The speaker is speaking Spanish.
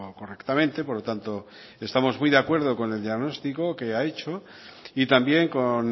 correctamente por lo tanto estamos muy de acuerdo con el diagnóstico que ha hecho y también con